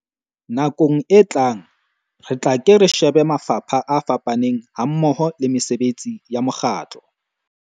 Nakong e tlang, re tla ke re shebe mafapha a fapaneng hammoho le mesebetsi ya mokgatlo.